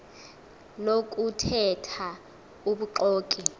lokuthe tha ubuxoki